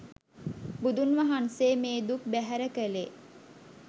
බුදුන් වහන්සේ මේ දුක් බැහැර කළේ